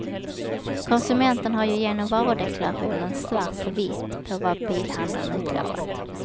Konsumenten har ju genom varudeklarationen svart på vitt på vad bilhandlaren utlovat.